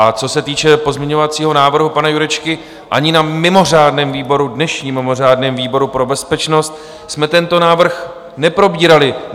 A co se týče pozměňovacího návrhu pana Jurečky, ani na mimořádném výboru, dnešním mimořádném výboru pro bezpečnost, jsme tento návrh neprobírali.